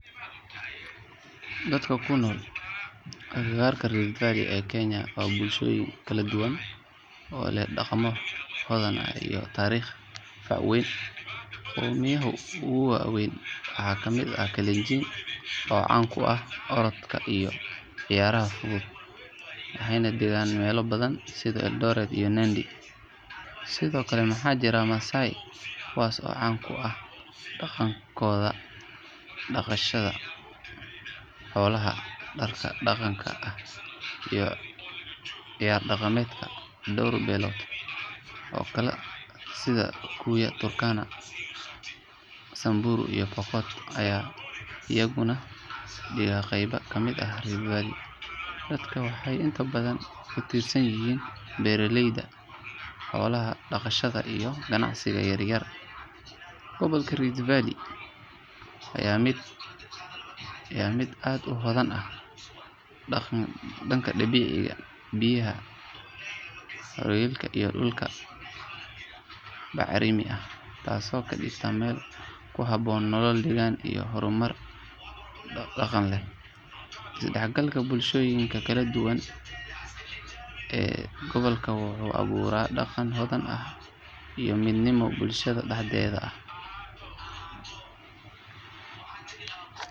Dadka ku nool agagaarka Rift Valley ee Kenya waa bulshooyin kala duwan oo leh dhaqamo hodan ah iyo taariikh fac weyn. Qoomiyadaha ugu waaweyn waxaa ka mid ah Kalenjin oo caan ku ah orodka iyo cayaaraha fudud, waxayna degaan meelo badan sida Eldoret iyo Nandi. Sidoo kale waxaa jira Maasai kuwaas oo caan ku ah dhaqankooda dhaqashada xoolaha, dharka dhaqanka ah iyo ciyaar dhaqameedka. Dhowr beelood oo kale sida Kikuyu, Turkana, Samburu iyo Pokot ayaa iyaguna dega qaybo ka mid ah Rift Valley. Dadkan waxay inta badan ku tiirsan yihiin beeraleyda, xoolo dhaqashada iyo ganacsiga yar yar. Gobolka Rift Valley waa mid aad u hodan ah dhanka dabiiciga, biyaha harooyinka, iyo dhulka bacrimi ah taasoo ka dhigta meel ku habboon nolol degan iyo horumar dhaqaale. Is dhexgalka bulshooyinka kala duwan ee dega gobolka wuxuu abuuraa dhaqan hodan ah iyo midnimo bulshada dhexdeeda ah.